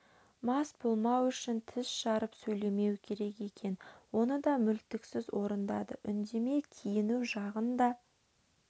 мас болмау үшін тіс жарып сөйлемеу керек екен оны да мүлтіксіз орындады үндемей киіну жағын да